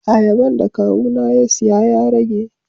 Ayaban da Kawu na ya siya ya rage.